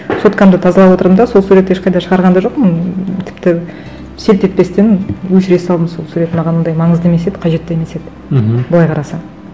соткамды тазалап отырдым да сол суреттті ешқайда шығарған да жоқпын тіпті селт етпестен өшіре салдым сол сурет маған ондай маңызды емес еді қажет те емес еді мхм былай қарасаң